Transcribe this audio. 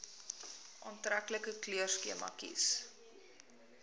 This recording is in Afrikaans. aantreklike kleurskema kies